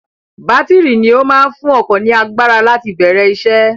Bátìrì ni ó máa ń fún ọkọ̀ ní agbára láti bẹ̀rẹ̀ isẹ́.